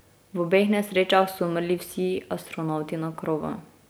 V obeh nesrečah so umrli vsi astronavti na krovu.